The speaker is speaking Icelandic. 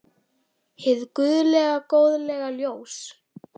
Hið guðlega góðlega ljós.